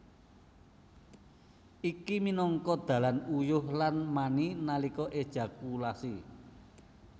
Iki minangka dalan uyuh lan mani nalika ejakulasi